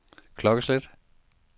klokkeslæt